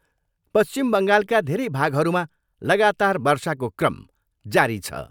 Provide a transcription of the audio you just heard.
पश्चिम बङ्गालका धेरै भागहरूमा लगातार वर्षाको क्रम जारी छ।